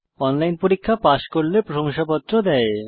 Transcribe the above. online পরীক্ষা pass করলে প্রশংসাপত্র দেয়